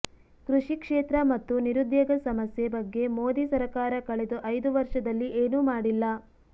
ಕೃಷಿ ಕ್ಷೇತ್ರ ಮತ್ತು ನಿರುದ್ಯೋಗ ಸಮಸ್ಯೆ ಬಗ್ಗೆ ಮೋದಿ ಸರಕಾರ ಕಳೆದ ಐದು ವರ್ಷದಲ್ಲಿ ಏನೂ ಮಾಡಿಲ್ಲ